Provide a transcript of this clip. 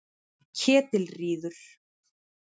Ketilríður